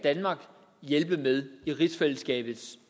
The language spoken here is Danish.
hjælpe med i rigsfællesskabets